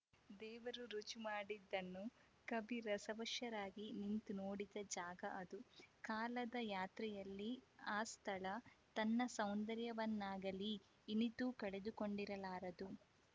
ದೇವರು ರುಜು ಮಾಡಿದ್ದನ್ನು ಕವಿ ರಸವಶರಾಗಿ ನಿಂತು ನೋಡಿದ ಜಾಗ ಅದು ಕಾಲದ ಯಾತ್ರೆಯಲ್ಲಿ ಆ ಸ್ಥಳ ತನ್ನ ಸೌಂದರ್ಯವನ್ನಾಗಲೀ ಇನಿತೂ ಕಳೆದುಕೊಂಡಿರಲಾರದು